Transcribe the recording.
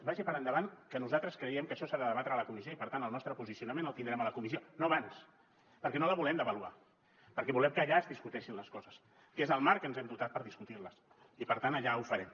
vagi per endavant que nosaltres creiem que això s’ha de debatre a la comissió i per tant el nostre posicionament el tindrem a la comissió no abans perquè no la volem deva luar perquè volem que allà es discuteixin les coses que és el marc que ens hem dotat per discutir les i per tant allà ho farem